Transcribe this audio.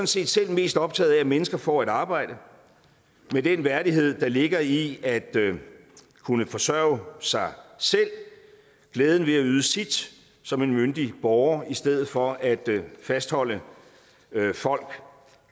set selv mest optaget af at mennesker får et arbejde med den værdighed der ligger i at kunne forsørge sig selv og glæden ved at yde sit som en myndig borger i stedet for at fastholde folk